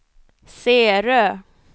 Särö